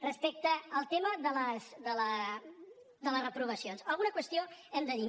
respecte al tema de les reprovacions alguna qüestió hem de dir